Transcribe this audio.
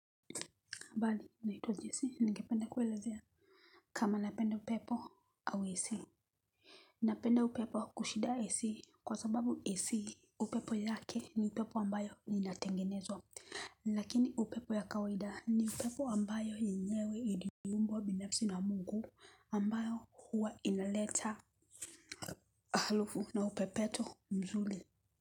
Habari naitwa Jese ningependa kuelezea. Kama napenda upepo au AC. Napenda upepo kushida AC kwa sababuAC upepo yake ni upepo ambayo inatengenezwa. Lakini upepo ya kawaida ni upepo ambayo yenyewe iliumbwa binafsi na mungu ambayo huwa inaleta harufu na upepeto mzuri.